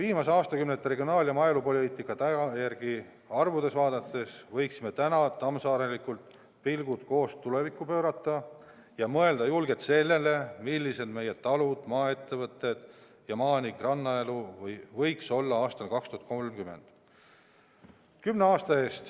Viimaste aastakümnete regionaal- ja maaelupoliitika tulemusi arvudes vaadates võiksime täna tammsaarelikult pilgud koos tulevikku pöörata ja mõelda julgelt sellele, millised meie talud, maaettevõtted ja maa- ning rannaelu võiks olla aastal 2030.